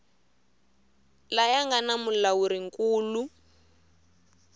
laya nga na mulawuri nkulu